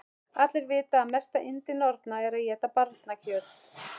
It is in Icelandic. Allir vita að mesta yndi norna er að éta barnakjöt.